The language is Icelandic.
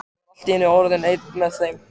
Ég var allt í einu orðinn einn með þeim.